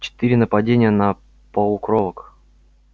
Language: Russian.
четыре нападения на полукровок